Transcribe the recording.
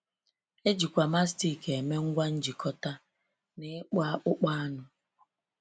E jikwa Mastic eme ngwa njikọta na n’ịkpụ akpụkpọ anụ.